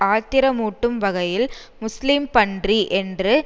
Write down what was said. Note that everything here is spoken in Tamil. ஆத்திரமூட்டும் வகையில் முஸ்லீம் பன்றி என்று